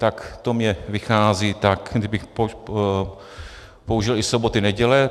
Tak to mně vychází, tak kdybych použil i soboty, neděle.